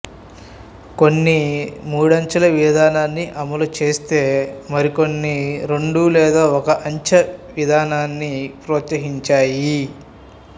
కొన్ని మూడంచెల విధానాన్ని అమలుచేస్తే మరికొన్ని రెండు లేదా ఒక అంచె విధానాన్ని ప్రోత్సహించాయి